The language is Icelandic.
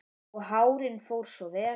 Og hárið fór svo vel!